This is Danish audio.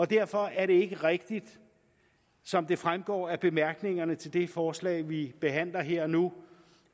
derfor er det ikke rigtigt som det fremgår af bemærkningerne til det forslag vi behandler her nu